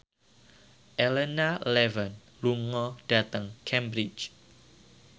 Elena Levon lunga dhateng Cambridge